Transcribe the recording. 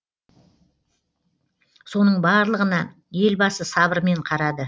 соның барлығына елбасы сабырмен қарады